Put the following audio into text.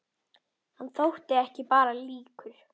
Hann þótti ekki bara líkur